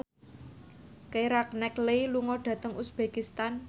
Keira Knightley lunga dhateng uzbekistan